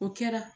O kɛra